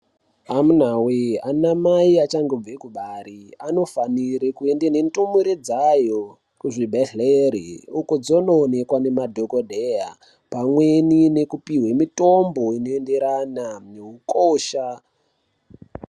Amunaa wee ana mai achangobve kubare anofanire kuende nendumure dzayo kuzvibhedgleri uko dzonoonekwa nemadhokodheya pamweni nekupuwe mutombo inoenderana neukosha.